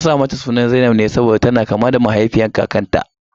An sa mata suna zainab ne saboda tana kama da mahaifiyar kakarta.